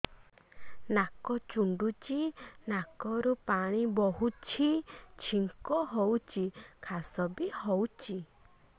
ନାକ ଚୁଣ୍ଟୁଚି ନାକରୁ ପାଣି ବହୁଛି ଛିଙ୍କ ହଉଚି ଖାସ ବି ହଉଚି